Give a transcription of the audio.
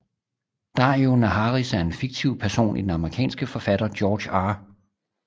Daario Naharis er en fiktiv person i den amerikanske forfatter George R